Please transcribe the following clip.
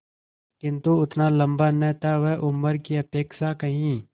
किंतु उतना लंबा न था वह उम्र की अपेक्षा कहीं